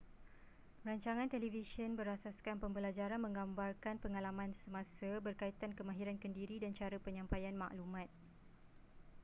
rancangan televisyen berasaskan pembelajaran menggambarkan pengalaman semasa berkaitan kemahiran kendiri dan cara penyampaian maklumat